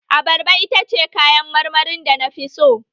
Abarba ita ce kayan marmarin da na fi so